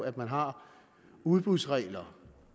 at man har udbudsregler